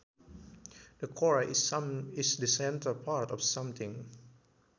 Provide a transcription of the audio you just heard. The core is the centre part of something